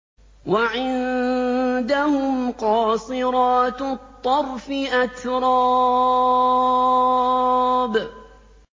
۞ وَعِندَهُمْ قَاصِرَاتُ الطَّرْفِ أَتْرَابٌ